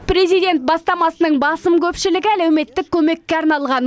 президент бастамасының басым көпшілігі әлеуметтік көмекке арналған